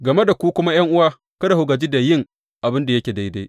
Game da ku kuma ’yan’uwa, kada ku gaji da yin abin da yake daidai.